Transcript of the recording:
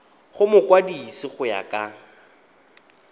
go mokwadise go ya ka